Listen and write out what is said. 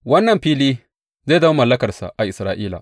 Wannan fili zai zama mallakarsa a Isra’ila.